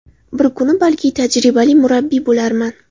Bir kuni, balki, tajribali murabbiy bo‘larman.